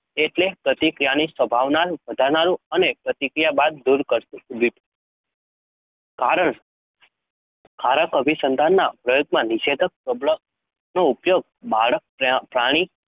એટલે પ્રતિક્રિયાની સંભાવના વધારનારું અને પ્રતિક્રિયા બાદ દૂર કરાતું ઉદ્દીપક. કારણ કારક અભિસંધાનના પ્રયોગમાં નિષેધક પ્રબલનનો ઉપયોગ બાળકપ્રાણી